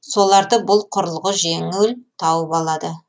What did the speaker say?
соларды бұл құрылғы жеңіл тауып алады